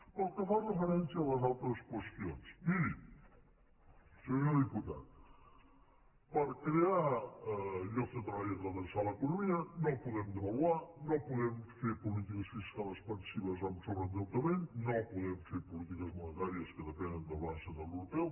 pel que fa referència a les altres qüestions miri senyor diputat per crear llocs de treball i redreçar l’economia no podem devaluar no podem fer polítiques fiscals expansives amb sobreendeutament no podem fer polítiques monetàries que depenen del banc central europeu